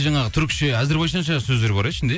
жаңағы түрікше әзірбайжанша сөздер бар иә ішінде иә